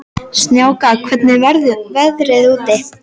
Snjáka, hvernig er veðrið úti?